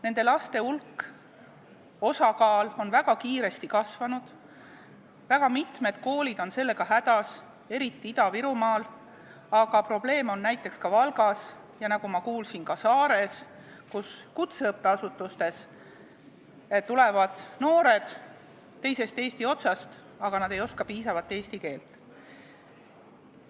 Nende laste hulk ja osakaal on väga kiiresti kasvanud, väga mitmed koolid on sellega hädas, eriti Ida-Virumaal, aga probleeme on näiteks ka Valgas, ja nagu ma kuulsin, ka Saares, kus kutseõppeasutustesse tulevad noored teisest Eesti otsast, aga nad ei oska piisavalt eesti keelt.